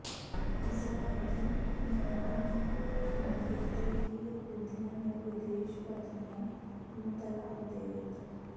Ezra ਅਤੇ Nehemiah ਨੇ ਮੰਗ ਕੀਤੀ ਕਿ ਯਹੂਦੀਆਂ ਨੇ ਵਿਦੇਸ਼ੀ ਪਤਨੀਆਂ ਨੂੰ ਤਲਾਕ ਦੇ ਦਿੱਤਾ